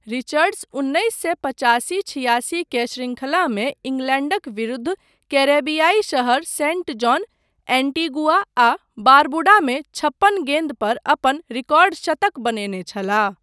Richards उन्नैस सए पचासी छियासी के शृंखलामे इंग्लैंडक विरुद्ध कैरेबियाई शहर सेण्ट जॉन, एन्टीगुआ आ बारबुडा मे छप्पन गेन्दपर अपन रिकॉर्ड शतक बनेने छलाह।